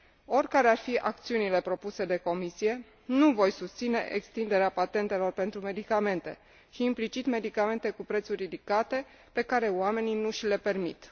Oricare ar fi acțiunile propuse de Comisie, nu voi susține extinderea patentelor pentru medicamente și, implicit, medicamente cu prețuri ridicate, pe care oamenii nu și le permit.